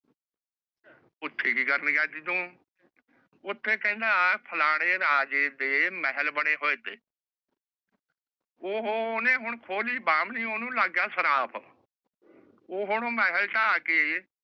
ਉੱਥੇ ਕਿ ਕਰਨ ਗਿਆ ਸੀ ਤੂੰ? ਉੱਥੇ ਕਹਿੰਦਾ ਫਲਾਣੇ ਰਾਜੇ ਦੇ ਮਹਿਲ ਬਣੇ ਹੋਏ ਨੇ। ਓਹਨੇ ਹੁਣ ਖੋ ਲਈ ਬਾਹਮਣੀ ਓਹਨੂੰ ਲੱਗ ਗਿਆ ਸਰਾਪ। ਉਹ ਹੁਣ ਮਹਿਲ ਢਾਹ ਕੇ